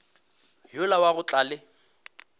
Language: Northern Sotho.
yola wa go tla le